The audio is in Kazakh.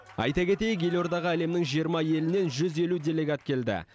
айта кетейік елордаға әлемнің жиырма елінен жүз елу делегат келді